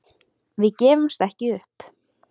Við gefumst ekki upp